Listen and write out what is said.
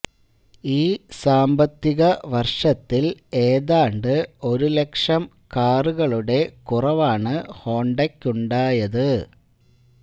ഈ സാമ്പത്തിക വര്ഷത്തില് ഏതാണ്ട് ഒരു ലക്ഷം കാറുകളുടെ കുറവാണ് ഹോണ്ടക്കുണ്ടായത്